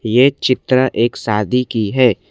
ये चित्र एक शादी की है।